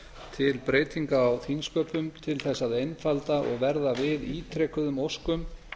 til breytinga á þingsköpum til þess að einfalda og verða við ítrekuðum óskum